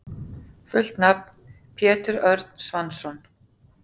Fullt nafn: Pétur Örn Svansson.